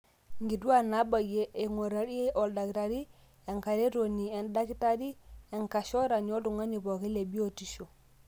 inkutuaak naabayie eing'urayie oldakitari, enkaretoni endakitari, enkashorani, oltung'ani pooki le biotishu.